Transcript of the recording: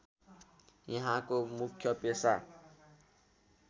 यहाँको मुख्य पेसा